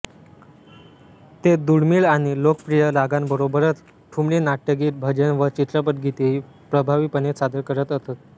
ते दुर्मिळ आणि लोकप्रिय रागांबरोबरच ठुमरी नाट्यगीत भजन व चित्रपटगीतेही प्रभावीपणे सादर करत असत